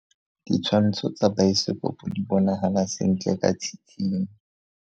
Ditshwantsho tsa biosekopo di bonagala sentle ka tshitshinyo.